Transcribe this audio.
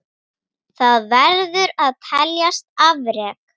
Það verður að teljast afrek.